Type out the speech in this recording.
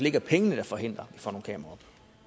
ikke er pengene der forhindrer at får nogle kameraer